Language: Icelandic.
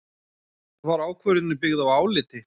Var ákvörðunin byggð á áliti